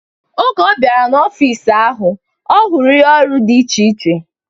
Oge ọ bịara n'ọfịs ahụ, ọ hụrụ ihe ọrụ dị iche iche